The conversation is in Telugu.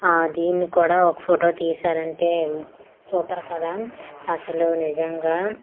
ఆ దీన్ని కూడా ఒక ఫోటో తీశారంటే సూపర్ కదా అసలు నిజంగా.